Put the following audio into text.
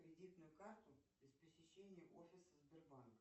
кредитную карту без посещения офиса сбербанка